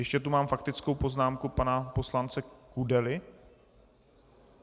Ještě tu mám faktickou poznámku pana poslance Kudely?